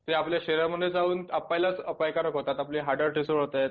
ते आपल्या शरीरामध्ये जाऊन आपल्यालाच अपायकारक होतात. आपले